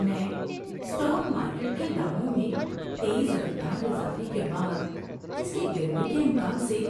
میں stock market کے داموں میں تیز رفتار اضافے کے بعد اس کے گرنے کے امکان سے